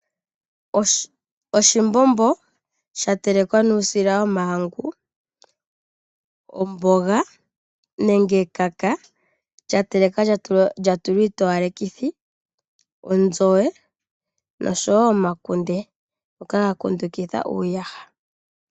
Oshimbombo shatelekwa nuusila womahangu, omboga nenge ekaka lya telekwa lya tulwa iitowa lekithi, onzowe noshowo omakunde ngoka ga kilundukidha uuyaha.